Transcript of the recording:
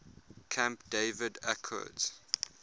camp david accords